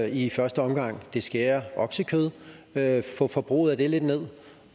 i første omgang det skære oksekød at få forbruget af det lidt ned